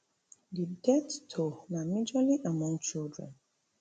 di death toll na majorly among children